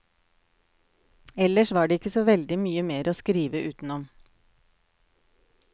Ellers var det ikke så veldig mye mer å skrive utenom.